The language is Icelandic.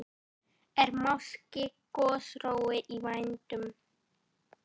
Er máske gosórói í vændum?